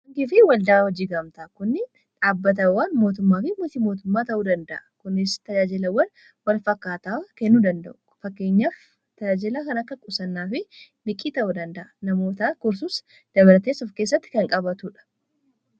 Angifi waldaa hojii gamtaa kuni dhaabbatawwan mootummaa fi miti mootummaa ta'uu danda'a. Kunis tajaajilawwan wal fakkaataa kennuu danda'u, fakkeenyaaf tajaajila kan akka qusannaa fi liqii ta'uu danda'a. Namoota tursus dabareessuu keessatti kan qabatuudha.